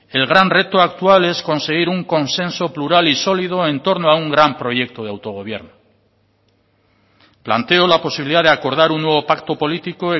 el gran reto actual es conseguir un consenso plural y solido en torno a un gran proyecto de autogobierno planteo la posibilidad de acordar un nuevo pacto político